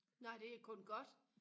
nej det er kun godt